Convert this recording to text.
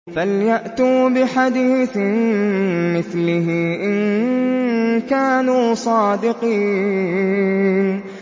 فَلْيَأْتُوا بِحَدِيثٍ مِّثْلِهِ إِن كَانُوا صَادِقِينَ